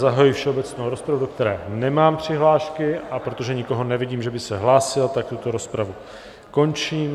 Zahajuji všeobecnou rozpravu, do které nemám přihlášky, a protože nikoho nevidím, že by se hlásil, tak tuto rozpravu končím.